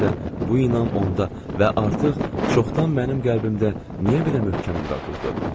Bir də bu iman onda və artıq çoxdan mənim qəlbimdə niyə belə möhkəm yuva qurdu?